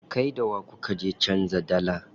Kai da wa kuka je canza dalla?